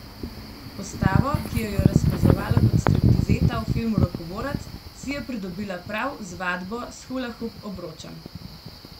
Postavo, ki jo je razkazovala kot striptizeta v filmu Rokoborec, si je pridobila prav z vadbo s hulahup obročem.